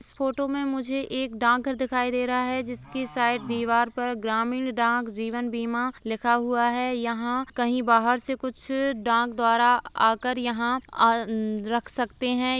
इस फोटो में मुझे एक डाक घर दिखाई दे रहा है जिसकी साइड दीवार पर ग्रामीण डाक जीवन बीमा लिखा हुआ है यहाँ कहीं बाहर से कुछ डाक द्वारा आ कर आ रख सकते है।